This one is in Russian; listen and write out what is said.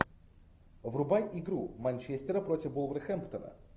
врубай игру манчестера против вулверхэмптона